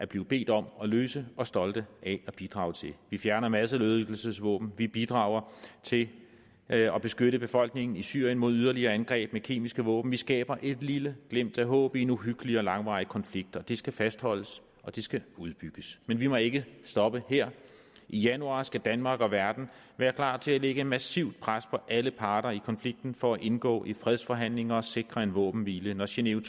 blevet bedt om at løse og stolte af at bidrage til vi fjerner masseødelæggelsesvåben vi bidrager til at at beskytte befolkningen i syrien mod yderligere angreb med kemiske våben vi skaber et lille glimt af håb i en uhyggelig og langvarig konflikt og det skal fastholdes og det skal udbygges men vi må ikke stoppe her i januar skal danmark og verden være klar til at lægge et massivt pres på alle parter i konflikten for at indgå i fredsforhandlinger og sikre en våbenhvile når genéve